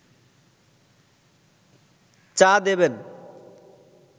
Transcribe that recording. চা দেবেন